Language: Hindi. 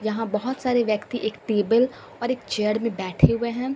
यहां बहुत सारे व्यक्ति एक टेबल और एक चेयर में बैठे हुए हैं।